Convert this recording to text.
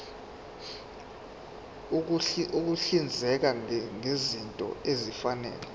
ukuhlinzeka ngezinto ezifanele